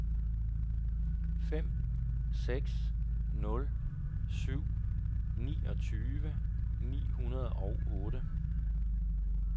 fem seks nul syv niogtyve ni hundrede og otte